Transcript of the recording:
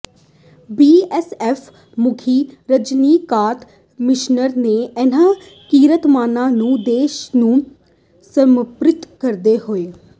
BSF ਮੁਖੀ ਰਜਨੀਕਾਤ ਮਿਸ਼ਰ ਨੇ ਇਨਾਂ ਕੀਰਤੀਮਾਨਾਂ ਨੂੰ ਦੇਸ਼ ਨੂੰ ਸਮਰਪਿਤ ਕਰਦੇ ਹੋਏ